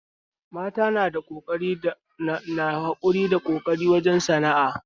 Mata na da hakuri da ƙoƙari wajen sana'a